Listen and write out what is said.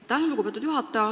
Aitäh, lugupeetud juhataja!